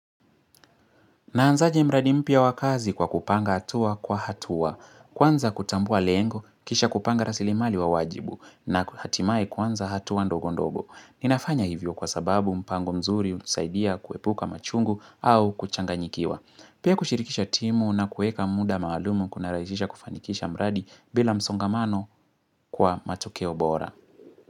Naanzaje mradi mpya wakazi kwa kupanga hatua kwa hatua. Kwanza kutambua lengo, kisha kupanga rasilimali wa wajibu na hatimaye kwanza hatua ndogo ndogo. Ninafanya hivyo kwa sababu mpango mzuri, unsaidia, kuepuka machungu au kuchanganyikiwa. Pia kushirikisha timu na kueka muda maalum kuna raisisha kufanikisha mradi bila msongamano kwa matokeo bora.